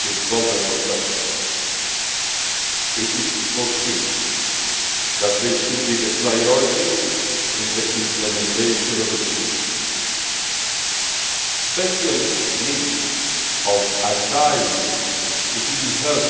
to vulnerable persons. It is foreseen that they should be the priority in the implementation of the scheme. The special needs of asylum applicants, including their